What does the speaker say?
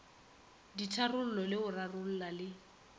ditharollo le go rarolla le